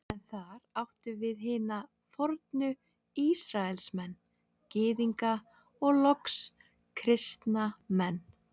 Er þar átt við hina fornu Ísraelsmenn, Gyðinga og loks kristna menn.